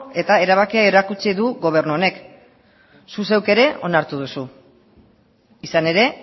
eta erabakia erakutsi du gobernu honek zu zeuk ere onartu duzu izan ere